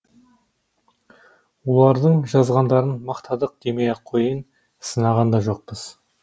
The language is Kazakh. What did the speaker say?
олардың жазғандарын мақтадық демей ақ қояйын сынаған да жоқпыз